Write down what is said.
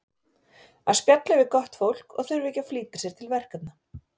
Að spjalla við gott fólk og þurfa ekki að flýta sér til verkefna.